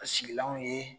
A sigilanw ye